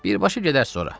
Birbaşa gedərsiz ora.